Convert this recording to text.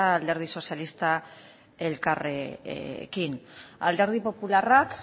alderdi sozialistak elkarrekin alderdi popularrak